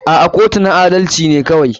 A'a kotu na adalci ne kawai.